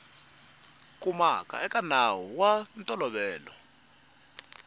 humaka eka nawu wa ntolovelo